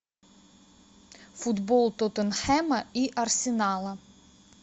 футбол тоттенхэма и арсенала